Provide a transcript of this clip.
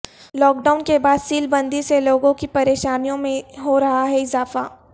lock down کے بعد سیل بندی سے لوگوں کی پریشانیوں میں ہورہا ہے اضافہ